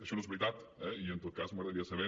això no és veritat eh i en tot cas m’agradaria saber